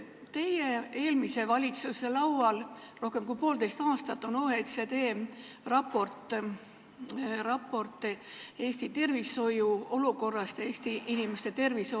Teie eelmise valitsuse laual on rohkem kui poolteist aastat olnud OECD raport Eesti tervishoiu olukorrast ja Eesti inimeste tervisest.